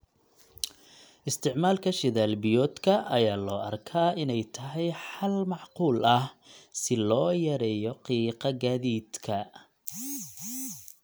Isticmaalka shidaal-biyoodka ayaa loo arkaa inay tahay xal macquul ah si loo yareeyo qiiqa gaadiidka.